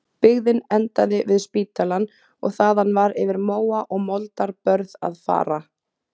Byggðin endaði við spítalann og þaðan var yfir móa og moldarbörð að fara.